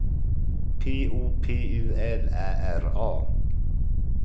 P O P U L Ä R A